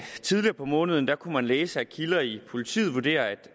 tidligere på måneden kunnet læse at kilder i politiet vurderer